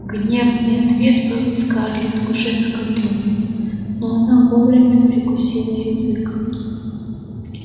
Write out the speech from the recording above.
гневный ответ был у скарлетт уже наготове но она вовремя прикусила язык